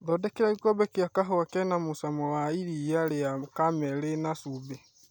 thondekera gĩkombe gĩa kahũa kena mũcamo wa iria ria carmel rĩna cumbĩ